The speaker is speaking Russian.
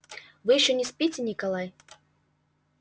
вы ещё не спите николай